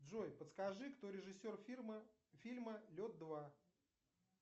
джой подскажи кто режиссер фильма лед два